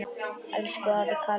Elsku afi Kalli.